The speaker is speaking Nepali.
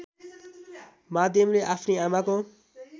माध्यमले आफ्नी आमाको